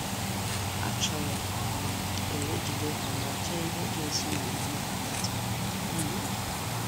Achọrọ um m ka ejide ha ma chee ihe ga-esi na omume ha pụta.' um